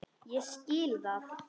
Ég skil það!